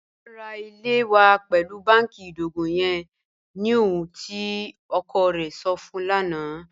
A n ra ilẹ̀ wa pẹlu bánkì idogo yẹn ni ohun tí ọkọ rẹ̀ sọ̀ fun ń lana